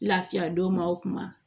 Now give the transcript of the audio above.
Lafiya don maaw kuma